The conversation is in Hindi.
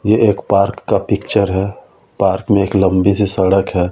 यह एक पार्क का पिक्चर है पार्क में एक लंबी सी सड़क है।